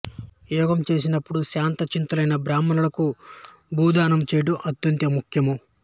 యాగం చేసినప్పుడు శాంత చిత్తులైన బ్రాహ్మణులకు భూదానము చెయ్యడం అత్యంత ముఖ్యము